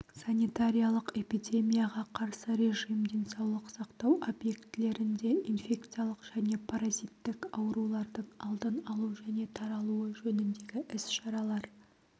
санитариялық-эпидемияға қарсы режим денсаулық сақтау объектілерінде инфекциялық және паразиттік аурулардың алдын алу және таратылуы жөніндегі іс-шаралар